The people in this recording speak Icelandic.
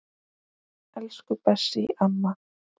Elsku Bessý amma.